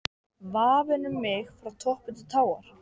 VAFIN um mig frá toppi til táar